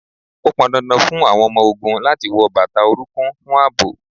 Ó pọn dandan fún àwọn ọmọ ogún láti wọ bàtà orunkun fún ààbò